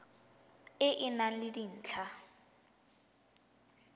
e e nang le dintlha